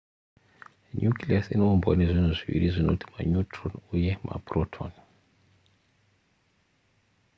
nucleus inoumbwa nezvinhu zviviri zvinoti maneutron uye maproton